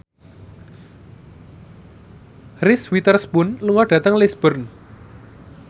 Reese Witherspoon lunga dhateng Lisburn